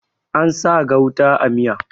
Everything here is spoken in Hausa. An sa gauta a miya